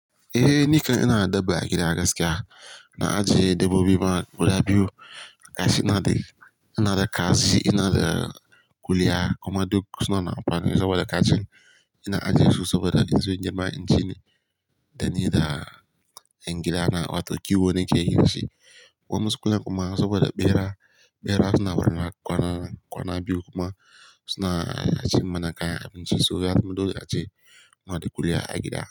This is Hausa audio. Eh, nikan ina da dabba a gida gaskiya. Na ajiye dabbobi ma guda biyu. Gashi ina da, ina da kaji, ina da kuliya kuma duk suna da apa saboda kacin. Ina ajiye su saboda in zo nima inci ne, dani da ingila na wato kiwo nake yi da shi. Kuma sukan kuma saboda bera, bera suna warana kwana, kwana biyu kuma suna ajiye mana kaya abinci, so ya mutu dole a je. Muna da ƙuliya a gida.